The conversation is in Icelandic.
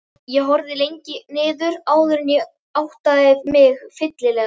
Ég horfði lengi niður áður en ég áttaði mig fyllilega.